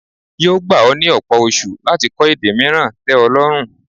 Yóò gba ọ́ ní ọ̀pọ̀ oṣu láti kọ èdè mìíràn tẹ́ ọ lọ́rùn.